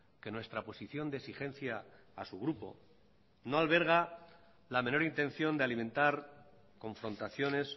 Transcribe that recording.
que nuestra posición de exigencia a su grupo no alberga la menor intención de alimentar confrontaciones